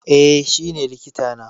Eh shi ne likita na